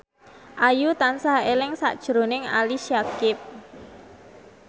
Ayu tansah eling sakjroning Ali Syakieb